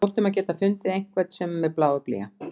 Við hljótum að geta fundið einhvern sem er með blað og blýant.